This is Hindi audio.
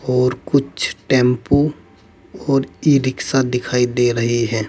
और कुछ टेंपो और ई रिक्शा दिखाई दे रही है।